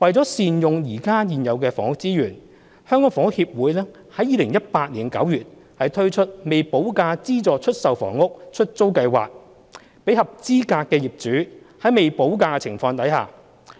為善用現有房屋資源，香港房屋協會於2018年9月推出"未補價資助出售房屋——出租計劃"，讓合資格的業主在未補價的情況下，